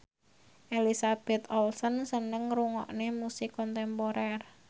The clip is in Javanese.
Elizabeth Olsen seneng ngrungokne musik kontemporer